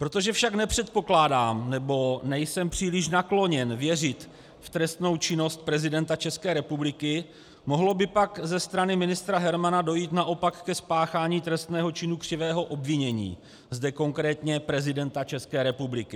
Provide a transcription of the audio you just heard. Protože však nepředpokládám, nebo nejsem příliš nakloněn věřit v trestnou činnost prezidenta České republiky, mohlo by pak ze strany ministra Hermana dojít naopak ke spáchání trestného činu křivého obvinění, zde konkrétně prezidenta České republiky.